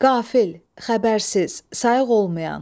Qafil, xəbərsiz, sayıq olmayan.